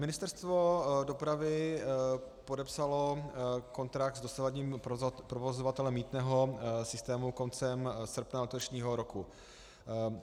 Ministerstvo dopravy podepsalo kontrakt s dosavadním provozovatelem mýtného systému koncem srpna letošního roku.